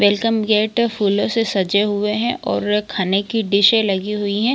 Welcome gate फूलो से सजे हुए है और खाने की डिशे लगी हुई हैं ।